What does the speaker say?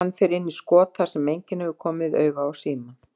Hann fer inn í skot þar sem enginn hefur komið auga á símann.